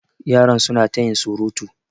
Yaran su na ta yin surutu.